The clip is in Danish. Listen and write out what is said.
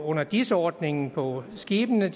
under dis ordningen på skibene